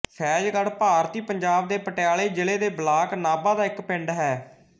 ਫੈ਼ਜ਼ਗੜ੍ਹ ਭਾਰਤੀ ਪੰਜਾਬ ਦੇ ਪਟਿਆਲਾ ਜ਼ਿਲ੍ਹੇ ਦੇ ਬਲਾਕ ਨਾਭਾ ਦਾ ਇੱਕ ਪਿੰਡ ਹੈ